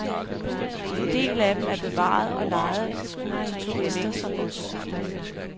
En del af dem er bevaret, og lejes ud til turister som os.